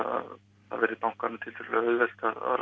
að það verði bankanum tiltölulega auðvelt